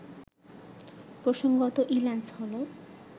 প্রসঙ্গত ইল্যান্স হল